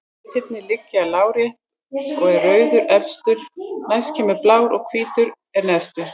Litirnir liggja lárétt og er rauður efstur, næst kemur blár og hvítur er neðstur.